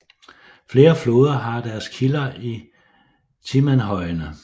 Flere floder har deres kilder i Timanhøjene